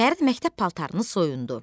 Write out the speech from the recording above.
Fərid məktəb paltarını soyundu.